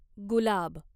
गुलाब